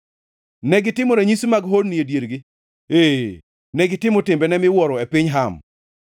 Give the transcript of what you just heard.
Negitimo ranyisi mag honni e diergi, ee, negitimo timbene miwuoro e piny Ham.